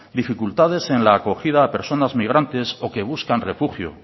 dificultades en la acogida a personas migrantes o que buscan refugio